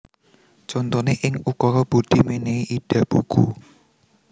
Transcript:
Contoné ing ukara Budi mènèhi Ida buku